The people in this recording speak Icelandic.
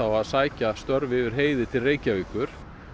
að sækja störf yfir heiði til Reykjavíkur